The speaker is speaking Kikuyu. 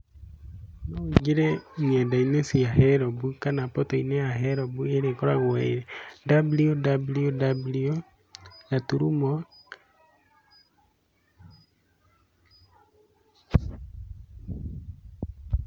No wĩingĩre nenda-inĩ cia herombu kana mboto-inĩ ya herombu ĩrĩa ikoragwo ĩ www gaturumo [pause.